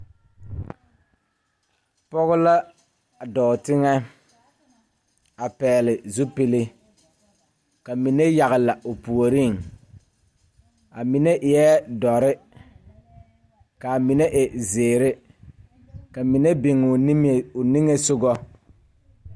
Pɔge la a dɔɔ teŋɛ a pɛgle zupile ka mine yagle o puoriŋ a mine eɛɛ dɔre kaa mine e zeere ka mine biŋoo niŋe o niŋesugɔ.